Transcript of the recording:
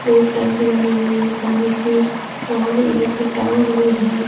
एक टंकी बनी हुई है पानी की और एक टावर भी है।